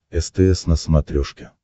стс на смотрешке